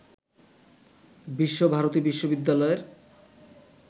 বিশ্ব ভারতী বিশ্ববিদ্যালয়ের